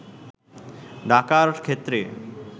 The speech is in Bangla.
ডাকার ক্ষেত্রে